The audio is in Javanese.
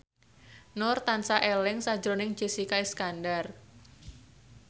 Nur tansah eling sakjroning Jessica Iskandar